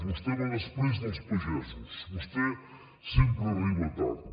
vostè va després dels pagesos vostè sempre arriba tard